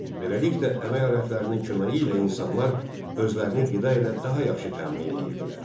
Beləliklə əmək alətlərinin köməyi ilə insanlar özlərini qida ilə daha yaxşı təmin edirdilər.